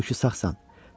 Halbuki sağsan.